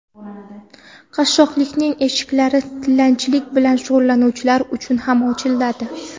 Qashshoqlikning eshiklari tilanchilik bilan shug‘ullanuvchilar uchun ham ochiladi.